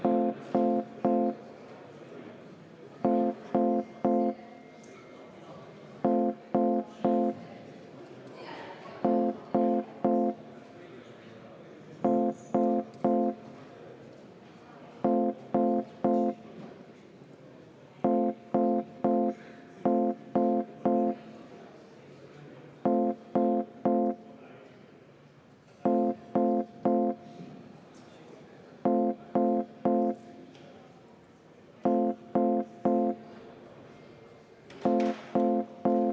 Ma ei tea, mulle tundub arusaamatu, et lugupeetud minister kasutab sellist väljendit, et Isamaa võtab üle EKRE jutupunkte, Isamaa võtab üle Kremli jutupunkte.